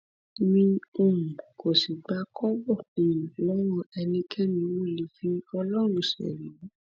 mi um ò sì gba kọbọ um lọwọ ẹnikẹni mo lè fi ọlọrun ṣerí